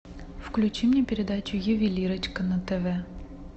включи мне передачу ювелирочка на тв